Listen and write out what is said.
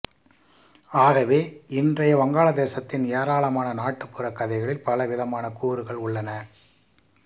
ஆகவே இன்றைய வங்காளதேசத்தின் ஏராளமான நாட்டுப்புறக் கதைகளில் பலவிதமான கூறுகள் உள்ளன